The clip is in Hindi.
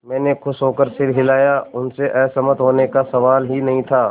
मैंने खुश होकर सिर हिलाया उनसे असहमत होने का सवाल ही नहीं था